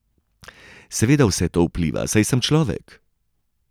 Seveda vse to vpliva, saj sem človek.